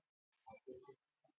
Hitt hefði verið dauðadómur